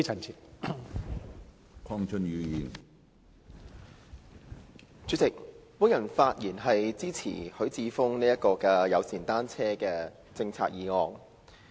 主席，我發言支持許智峯議員有關制訂單車友善政策的議案。